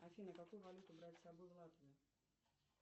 афина какую валюту брать с собой в латвию